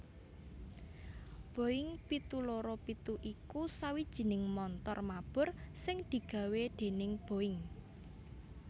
Boeing pitu loro pitu iku sawijining montor mabur sing digawé déning Boeing